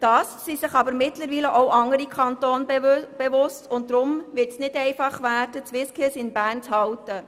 Da sich mittlerweile aber auch andere Kantone bewerben, wird es nicht einfach werden, die SwissSkills in Bern zu behalten.